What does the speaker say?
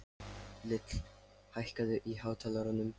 Lill, hækkaðu í hátalaranum.